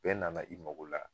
Bɛɛ nana i mago la